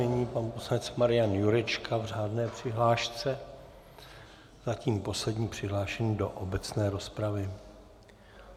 Nyní pan poslanec Marian Jurečka v řádné přihlášce, zatím poslední přihlášený do obecné rozpravy.